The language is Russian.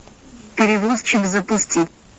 перевозчик запусти